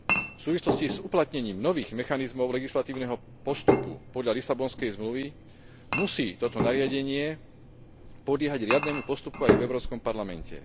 V súvislosti s uplatnením nových mechanizmov legislatívneho postupu podľa Lisabonskej zmluvy musí toto nariadenie podliehať riadnemu postupu aj v Európskom parlamente.